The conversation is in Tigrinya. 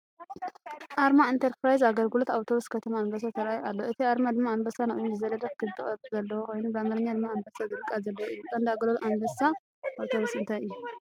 ኣርማ ኢንተርፕራይዝ ኣገልግሎት ኣውቶቡስ ከተማ ኣንበሳ ተራእዩ ኣሎ። እቲ ኣርማ ድማ ኣንበሳ ንቕድሚት ዝዘለለ ክቢ ቅርጺ ዘለዎ ኮይኑ፡ ብኣምሓርኛ ድማ "ኣንበሳ" ዝብል ቃል ዘለዎ እዩ። ቀንዲ ኣገልግሎት ኣንበሳ ኣውቶቡስ እንታይ እዩ?